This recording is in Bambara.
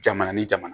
Jamana ni jamana